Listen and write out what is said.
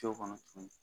Co kɔnɔ tuguni